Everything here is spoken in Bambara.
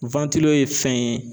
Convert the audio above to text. ye fɛn ye